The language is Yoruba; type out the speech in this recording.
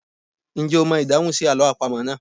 Ǹjẹ́ o mọ ìdáhùn sí àlọ́ àpamọ́ náà?